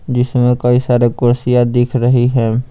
जिसमें कई सारे कुर्सियाँ दिख रही हैं।